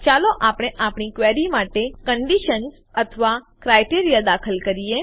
ચાલો આપણે આપણી ક્વેરી માટે કંડીશન્સ અથવા ક્રાઈટેરીયા દાખલ કરીએ